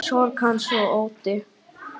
Sorg hans og ótti.